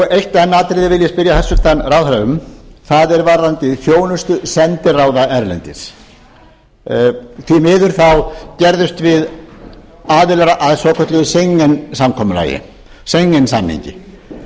eitt enn atriði vil ég spyrja hæstvirtan ráðherra um það er varðandi þjónustu sendiráða erlendis því miður gerðumst við aðilar að svokölluðu schengen samkomulagi schengen samningi